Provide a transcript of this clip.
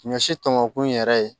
Ɲɔ si tɔmɔnɔkun in yɛrɛ ye